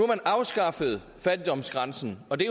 man afskaffet fattigdomsgrænsen og det